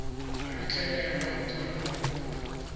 a letlelelwa go dira kopo